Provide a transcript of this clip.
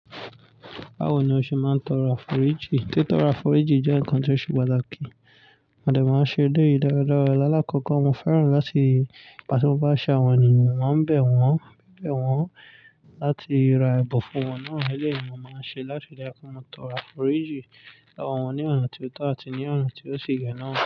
Báwo ni o ṣe máa ń tọrọ aforiji? Titọ aforiji jẹ́ ǹkan ti ó ṣe pàtàkì. Mọdé máa ń ṣe eleyi daradara lalákọ̀kọ, mo fẹ́ràn láti nígba ti mo ba ṣẹ àwọn ènìyàn, mo maa n bẹ̀ wọ́n láti ra ẹ̀bùn fún wọn náà. Eleyi mo máa ń ṣe láti lè tọrọ aforiji lowo wọn ní ọ̀nà tí ó tọ̀ àti ní ọ̀nà tí ó sì yẹ̀ naà.